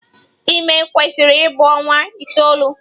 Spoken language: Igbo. Ime kwesịrị ịbụ ọnwa itoolu.